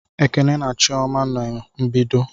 Ekene na chioma no na-mbedo